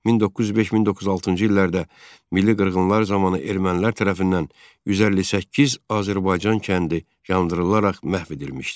1905-1906-cı illərdə milli qırğınlar zamanı ermənilər tərəfindən 158 Azərbaycan kəndi yandırılaraq məhv edilmişdi.